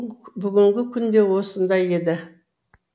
бүгінгі күн де осындай еді